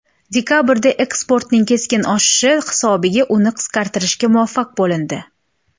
Dekabrda eksportning keskin oshishi hisobiga uni qisqartirishga muvaffaq bo‘lindi.